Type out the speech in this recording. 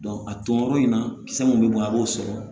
a ton yɔrɔ in na kisɛ mun be bɔ a b'o sɔrɔ